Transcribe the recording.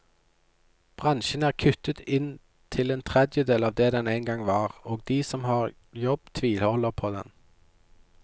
Bransjen er kuttet inn til en tredjedel av det den engang var, og de som har jobb tviholder på den.